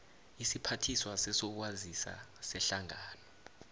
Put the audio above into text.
isiphathiswa sezokwazisa sehlangano